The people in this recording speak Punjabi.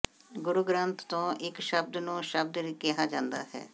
ਗੁਰੂ ਗ੍ਰੰਥ ਤੋਂ ਇਕ ਸ਼ਬਦ ਨੂੰ ਸ਼ਬਦ ਕਿਹਾ ਜਾਂਦਾ ਹੈ